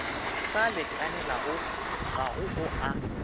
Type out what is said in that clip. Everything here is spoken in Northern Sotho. sa lekanelago ga go a